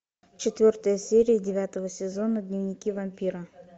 четвертая серия девятого сезона дневники вампира